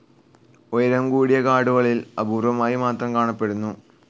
ഉയരം കൂടിയ കാടുകളിൽ അപൂർവ്വമായി മാത്രം കാണപ്പെടുന്നു.